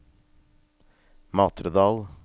Matredal